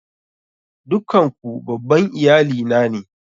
Dukkan ku babban iyali na ne?